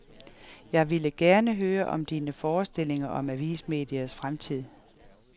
Jeg ville gerne høre om dine forestillinger om avismediets fremtid.